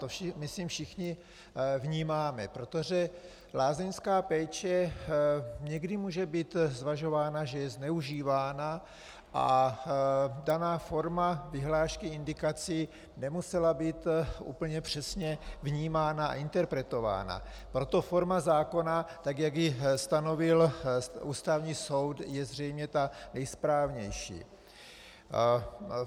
To myslím všichni vnímáme, protože lázeňská péče někdy může být zvažována, že je zneužívána, a daná forma vyhlášky indikací nemusela být úplně přesně vnímána a interpretována, proto forma zákona, tak jak ji stanovil Ústavní soud, je zřejmě ta nejsprávnější.